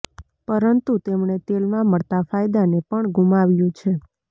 પરંતુ તેમણે તેલમાં મળતા ફાયદાને પણ ગુમાવ્યું છે